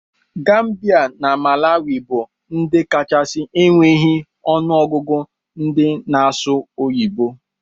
Gambia na malawi bu ndi kachasi enweghi onụ ọgụgụ ndi na asụ oyibo.